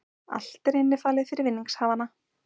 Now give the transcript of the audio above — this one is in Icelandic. Allt er innifalið fyrir vinningshafana